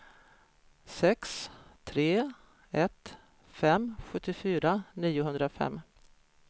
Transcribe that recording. sex tre ett fem sjuttiofyra niohundrafem